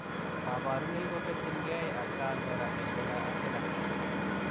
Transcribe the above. Kabarunoik ko ketyin gei atkaan koraa eng kila ak kila .